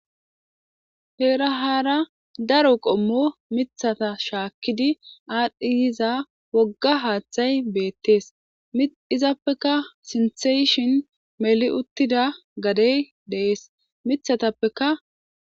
heera haara daro qommo mithata shaakkidi aadhdhi yiza wogga haaththay beettees izappeka sinseshin meli uttida gadey dees mithatappeka